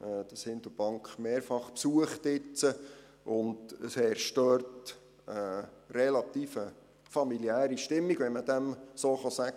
Ich habe dieses Hindelbank jetzt mehrfach besucht, und es herrscht dort eine relativ familiäre Stimmung, wenn man dem so sagen kann.